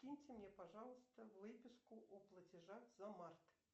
киньте мне пожалуйста выписку о платежах за март